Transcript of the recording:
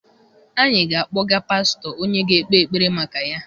Anyị ga-akpọga pastọ onye ga-ekpe ekpere maka ya.